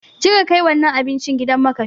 Je ka kai wannan abinci gidan makafi!